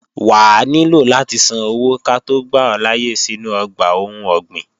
Wà á nílò láti san owó ká tó gbà ọ́ láyé sínú ọgbà ohun ọ̀gbìn